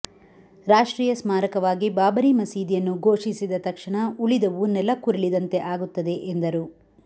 ರಾಷ್ಟ್ರೀಯ ಸ್ಮಾರಕವಾಗಿ ಬಾಬರಿ ಮಸೀದಿಯನ್ನು ಘೋಷಿಸಿದ ತಕ್ಷಣ ಉಳಿದವು ನೆಲಕ್ಕುರಿಳಿದಂತೆ ಆಗುತ್ತದೆ ಎಂದರು